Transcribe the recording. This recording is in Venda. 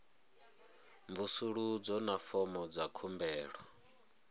mvusuludzo na fomo dza khumbelo